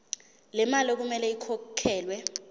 lemali okumele ikhokhelwe